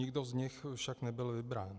Nikdo z nich však nebyl vybrán.